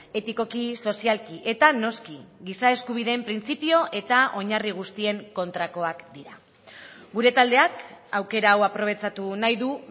etikoki sozialki eta noski giza eskubideen printzipio eta oinarri guztien kontrakoak dira gure taldeak aukera hau aprobetxatu nahi du